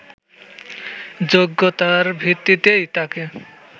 যোগ্যতার ভিত্তিতেই তাকে